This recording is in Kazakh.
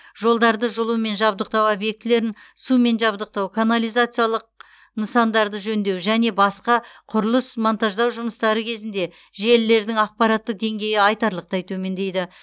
жолдарды жылумен жабдықтау объектілерін сумен жабдықтау канализациялық нысандарды жөндеу және басқа құрылыс монтаждау жұмыстары кезінде желілердің апаттық деңгейі айтарлықтай төмендейді